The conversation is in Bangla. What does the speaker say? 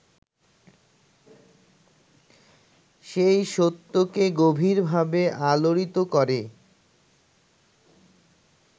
সেই সত্যকে গভীরভাবে আলোড়িত করে